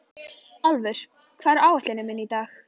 Álfur, hvað er á áætluninni minni í dag?